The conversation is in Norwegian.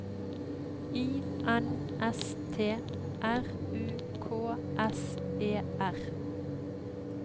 I N S T R U K S E R